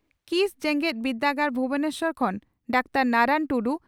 ᱠᱤᱥ ᱡᱮᱜᱮᱛ ᱵᱤᱨᱫᱟᱹᱜᱟᱲ ᱵᱷᱩᱵᱚᱱᱮᱥᱚᱨ ᱠᱷᱚᱱ ᱰᱟᱠᱛᱟᱨ ᱱᱟᱨᱟᱱ ᱴᱩᱰᱩ